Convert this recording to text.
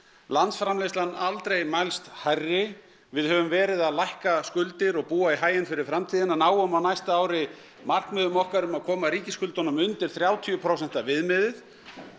landsframleiðslan aldrei mælst hærri við höfum verið að lækka skuldir og búa í haginn fyrir framtíðina náum á næsta ári markmiðum okkar um að koma ríkisskuldunum undir þrjátíu prósenta viðmiðið